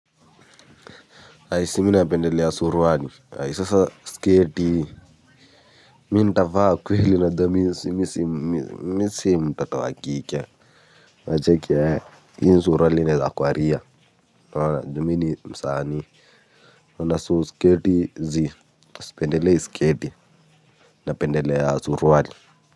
Ai si mi napendelea surwali ai sasa skeeti mi nitavaa kweli unajua mimi si mimi mtoto wa kike unacheki hio suruali naezakwaria unaona juu mi ni msaani na so sketi zii pendelei sketi napendelea suruali.